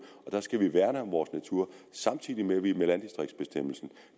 der skal vi værne om vores natur samtidig med at vi med landdistriktsbestemmelsen